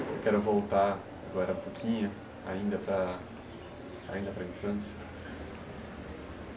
Eu quero voltar agora um pouquinho, ainda para, ainda para a infância.